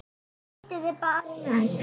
Ég hitti þá bara næst.